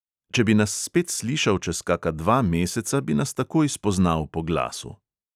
Če bi nas spet slišal čez kaka dva meseca, bi nas takoj spoznal po glasu.